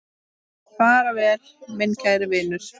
Far vel, minn kæri vinur.